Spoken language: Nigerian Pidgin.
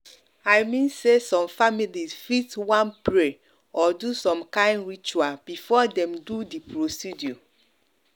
i mean say some families fit wan pray or do some kind ritual before dem do the procedure.